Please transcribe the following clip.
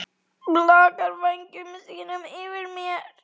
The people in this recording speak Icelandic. Blakar vængjum sínum yfir mér.